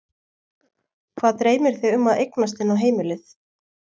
Hvað dreymir þig um að eignast inn á heimilið?